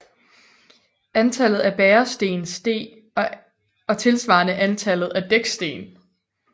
Antallet af bæresten steg og tilsvarende antallet af dæksten